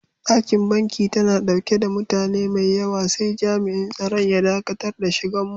Dakin banki tana dauke da mutane maiyawa sai jam'in tsaron ya daƙatar da shigan mu.